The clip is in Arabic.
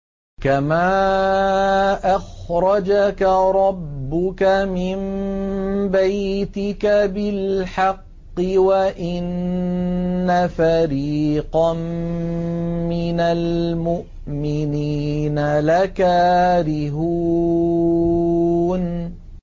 كَمَا أَخْرَجَكَ رَبُّكَ مِن بَيْتِكَ بِالْحَقِّ وَإِنَّ فَرِيقًا مِّنَ الْمُؤْمِنِينَ لَكَارِهُونَ